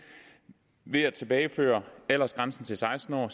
ved at tilbageføre aldersgrænsen til seksten år